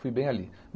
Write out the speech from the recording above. Fui bem ali.